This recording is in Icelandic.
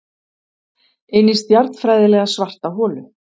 Inní stjarnfræðilega svarta holu.